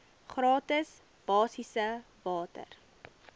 gratis basiese water